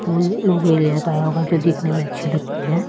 का होगा जो देखने में अच्छे लगते हैं।